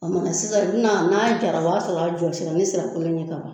A ma na sisan n'a jara o b'a sɔrɔ a jɔsira ni nsira kolo ye ka ban